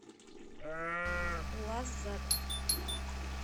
лаззат